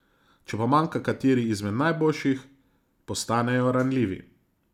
Če pa manjka kateri izmed najboljših, postanejo ranljivi.